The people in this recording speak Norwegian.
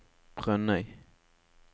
Brønnøy